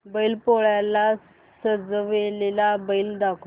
बैल पोळ्याला सजवलेला बैल दाखव